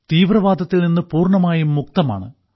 തീവ്രവാദത്തിൽനിന്ന് പൂർണ്ണമായും മുക്തമാണ്